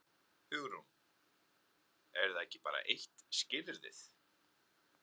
Hugrún: Er það ekki bara eitt skilyrðið?